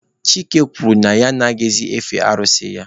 Chike kwuru na ya anaghịzị efe arụsị ya.